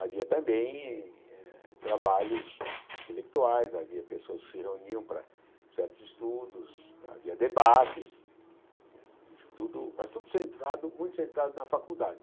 Havia também eh trabalhos intelectuais, havia pessoas que se reuniam para certos estudos, havia debates, mas tudo mas tudo muito centrado na faculdade.